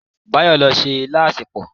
Báyọ̀ ló se ilá asèpọ̀.